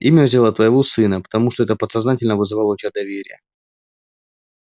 имя взяла твоего сына потому что это подсознательно вызывало у тебя доверие